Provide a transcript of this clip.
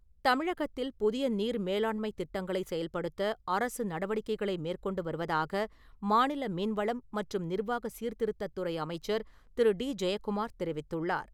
தமிழகத்தில் புதிய நீர் மேலாண்மைத் திட்டங்களை செயல்படுத்த அரசு நடவடிக்கைகளை மேற்கொண்டு வருவதாக மாநில மீன்வளம் மற்றும் நிர்வாக சீர்த்திருத்தத்துறை அமைச்சர் திரு.டி.ஜெயக்குமார் தெரிவித்துள்ளார்.